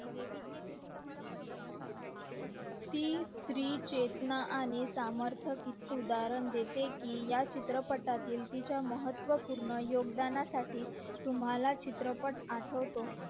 ती स्री चेतना आणि समर्थक उद्धरण देते कि या चित्रपटातील तिच्या महत्व पूर्ण योगदानासाठी तुम्हला चित्रपट आठवतो